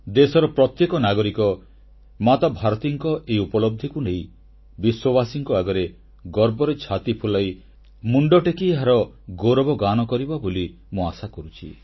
ଦେଶର ପ୍ରତ୍ୟେକ ନାଗରିକ ମାତା ଭାରତୀଙ୍କ ଏହି ଉପଲବ୍ଧିକୁ ନେଇ ବିଶ୍ୱବାସୀଙ୍କ ଆଗରେ ଗର୍ବରେ ଛାତି ଫୁଲାଇ ମୁଣ୍ଡଟେକି ଏହାର ଗୌରବଗାନ କରିବ ବୋଲି ମୁଁ ଆଶା କରୁଛି